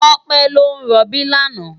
Tope lò n ròbí làná